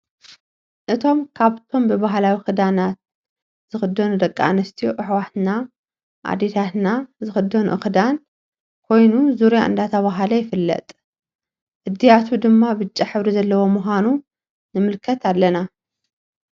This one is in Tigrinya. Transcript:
አቶም ካብቶምብባህላዊ ክዳናት ዝኮኑ ደቂ አንስትዮ አሕዋትና አዴታትና ዝክደንኦ ክዳን ኮይኑ ዙርያ ዳተብሃለ ይፍለጥ እድያቱ ድማ ብጫ ሕብሪ ዘለዎ ምካኑ ንምልከት አለና::